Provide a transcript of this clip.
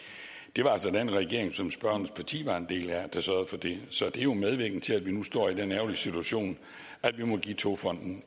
det var altså den regering som spørgerens parti var en del af der sørgede for det så det er jo medvirkende til at vi nu står i den ærgerlige situation at vi må give togfonden